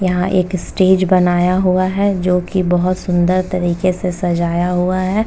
यहाँ एक स्टेज बनाया हुआ है जोकि बहोत सुंदर तरीके से सजाया हुआ है।